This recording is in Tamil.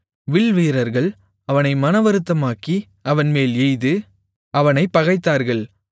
வில்வீரர்கள் அவனை மனவருத்தமாக்கி அவன்மேல் எய்து அவனைப் பகைத்தார்கள்